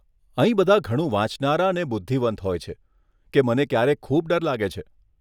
અહીં બધાં ઘણું વાંચનારા અને બુધ્ધિવંત હોય છે કે મને ક્યારેક ખૂબ ડર લાગે છે.